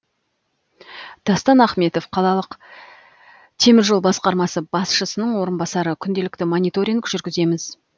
дастан ахметов қалалық темір жол басқармасы басшысының орынбасары күнделікті мониторинг жүргіземіз